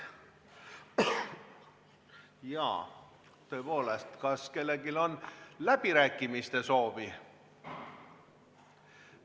Jaa, tõepoolest, kas kellelgi on läbirääkimiste soovi?